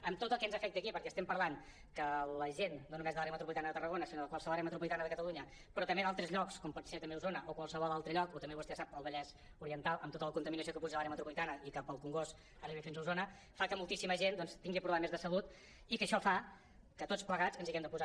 amb tot el que ens afecta aquí perquè estem parlant que la gent no només de l’àrea metropolitana de tarragona sinó de qualsevol àrea metropolitana de catalunya però també d’altres llocs com pot ser també osona o qualsevol altre lloc o també vostè ho sap el vallès oriental amb tota la contami·nació que puja de l’àrea metropolitana i que pel congost arriba fins a osona fa que moltíssima gent doncs tingui problemes de salut i que això fa que tots plegats ens hi haguem de posar